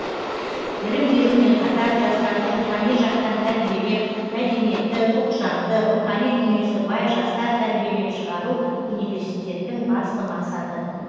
білім берумен қатар жастарды рухани жақтан тәрбиелеп мәдениетті ұлтжанды рухани дүниесі бай жастар тәрбиелеп шығару университеттің басты мақсаты